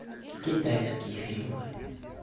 китайские фильмы